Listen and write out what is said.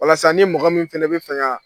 Walasa ni mɔgɔ min fɛnɛ be fɛ ka